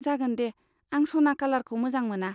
जागोन दे, आं सना कालारखौ मोजां मोना।